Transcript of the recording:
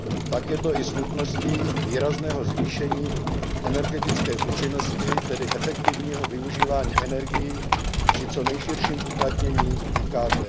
Tak je to i s nutností výrazného zvýšení energetické účinnosti tedy efektivního využívání energií při co nejširším uplatnění IKT.